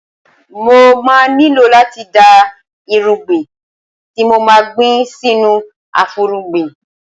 Mo má nílò láti da irúgbìn tí mo ma gbìn sínú afúrúgbìn.